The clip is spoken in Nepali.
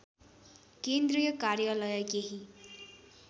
केन्द्रीय कार्यालय केही